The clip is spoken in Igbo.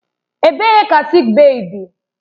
Ebee ka sịịk bèyí dị?